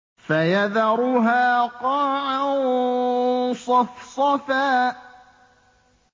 فَيَذَرُهَا قَاعًا صَفْصَفًا